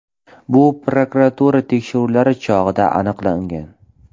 Bu prokuratura tekshiruvlari chog‘ida aniqlangan.